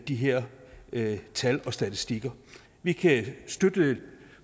de her tal og statistikker vi kan støtte